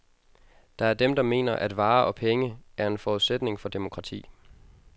Der er dem, der mener, at varer og penge er en forudsætning for demokrati.